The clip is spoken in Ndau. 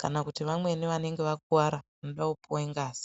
kana kuti vamweni vanenge vakuwara vanode puwa ngazi.